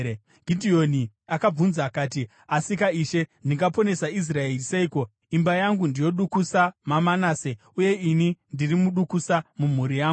Gidheoni akabvunza akati, “Asika Ishe, ndingaponesa Israeri seiko? Imba yangu ndiyo dukusa maManase, uye ini ndiri mudukusa mumhuri yangu.”